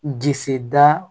Disi da